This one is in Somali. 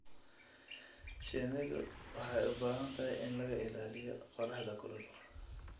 Shinnidu waxay u baahan tahay in laga ilaaliyo qorraxda kulul.